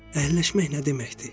Əhəlləşmək nə deməkdir?